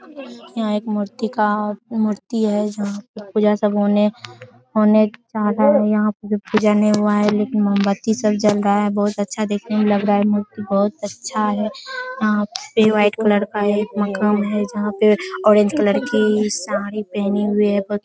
यहाँ एक मूर्तिकार मूर्ति है जहाँ पर पूजा सब होने होने जा रहा है। यहाँ पर पूजा नही हुआ है लेकिन मोमबत्ती सब जल रहा है। बहुत अच्छा देखने मे लग रहा है। मूर्ति बहुत अच्छा है। वहाँ पे व्हाइट कलर का एक पंखा है यहाँ पे ऑरेंज कलर की साड़ी पहने हुए है --